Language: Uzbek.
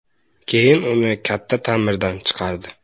Keyin uni katta ta’mirdan chiqardi.